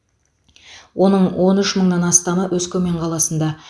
оның он үш мыңнан астамы өскемен қаласында